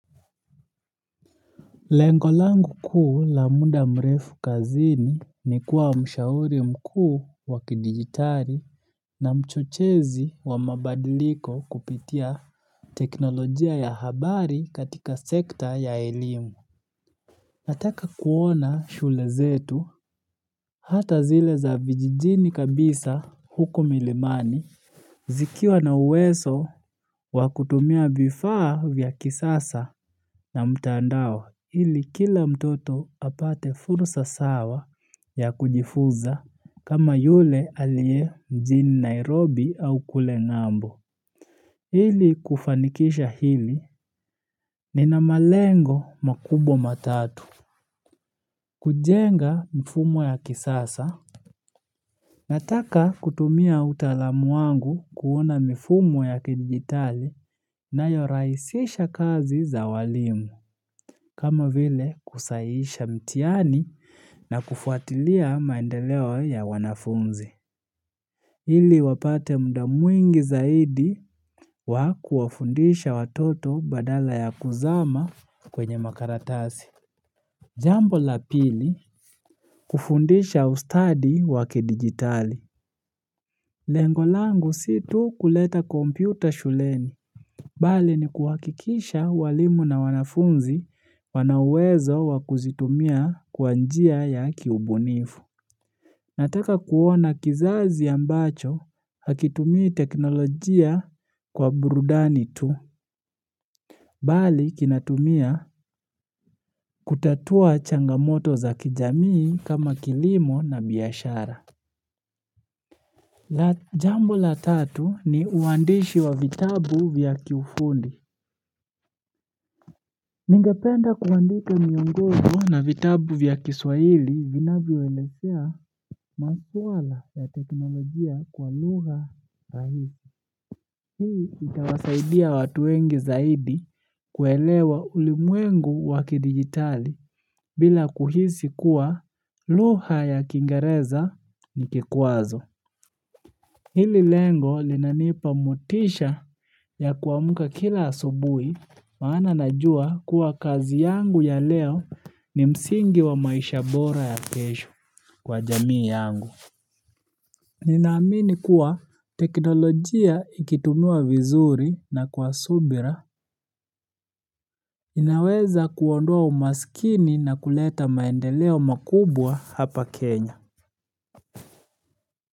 Lengo langu kuu la muda mrefu kazini ni kuwa mshauri mkuu wa kidigitari na mchochezi wa mabadiliko kupitia teknolojia ya habari katika sekta ya elimu. Nataka kuona shule zetu hata zile za vijijini kabisa huku milimani. Zikiwa na uwezo wa kutumia vifaa vya kisasa na mtandao ili kila mtoto apate fursa sawa ya kujifuza kama yule aliye mjini Nairobi au kule ngambo. Ili kufanikisha hili nina malengo makubwa matatu. Kujenga mfumo ya kisasa, nataka kutumia utalamu wangu kuona mifumo ya kidigitali inayorahisisha kazi za walimu, kama vile kusahihisha mtihani na kufuatilia maendeleo ya wanafunzi. Hili wapate muda mwingi zaidi wa kuwafundisha watoto badala ya kuzama kwenye makaratasi. Jambo la pili, kufundisha ustadi wa kidigitali. Lengo langu si tu kuleta kompyuta shuleni. Bali ni kuhakikisha walimu na wanafunzi wana uwezo wa kuzitumia kwa njia ya kiubunifu. Nataka kuona kizazi ambacho hakitumii teknolojia kwa burudani tu. Bali kinatumia kutatua changamoto za kijamii kama kilimo na biashara. Jambo la tatu ni uandishi wa vitabu vya kiufundi. Ningependa kuandika miongojo na vitabu vya kiswahili vinavyoelezea maswala ya teknolojia kwa lugha rahisi. Hii itawasaidia watu wengi zaidi kuelewa ulimwengu wakidigitali bila kuhisi kuwa lugha ya kiingereza ni kikwazo. Hili lengo linanipa motisha ya kuamka kila asubui maana najua kuwa kazi yangu ya leo ni msingi wa maisha bora ya kesho kwa jamii yangu. Ninaamini kuwa teknolojia ikitumiwa vizuri na kwa subira inaweza kuondoa umaskini na kuleta maendeleo makubwa hapa Kenya.